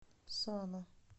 сана